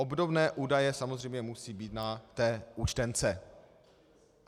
Obdobné údaje samozřejmě musí být na té účtence.